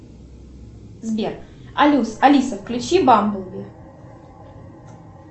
сбер алиса включи бамблби